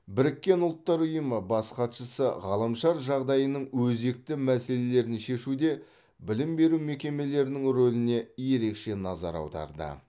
біріккен ұлттар ұйымы бас хатшысы ғаламшар жағдайының өзекті мәселелерін шешуде білім беру мекемелерінің рөліне ерекше назар аударды